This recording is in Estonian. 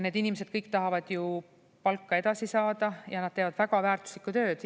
Need inimesed kõik tahavad ju palka edasi saada ja nad teevad väga väärtuslikku tööd.